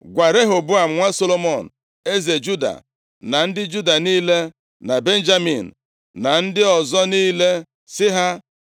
“Gwa Rehoboam, nwa Solomọn eze Juda, na ndị Juda niile, na Benjamin na ndị ọzọ niile, sị ha,